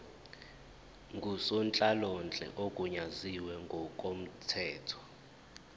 ngusonhlalonhle ogunyaziwe ngokomthetho